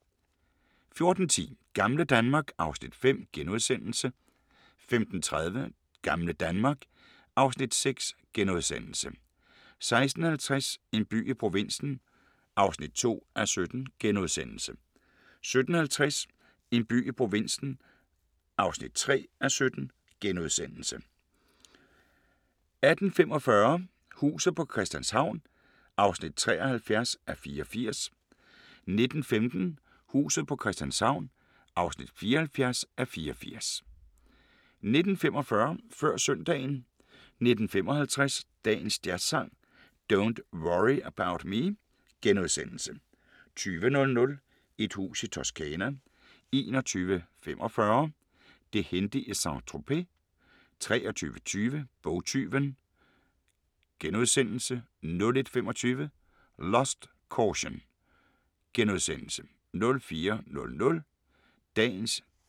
14:10: Gamle Danmark (Afs. 5)* 15:30: Gamle Danmark (Afs. 6)* 16:50: En by i provinsen (2:17)* 17:50: En by i provinsen (3:17)* 18:45: Huset på Christianshavn (73:84) 19:15: Huset på Christianshavn (74:84) 19:45: Før Søndagen 19:55: Dagens Jazzsang: Don't Worry About Me * 20:00: Et hus i Toscana 21:45: Det hændte i Saint-Tropez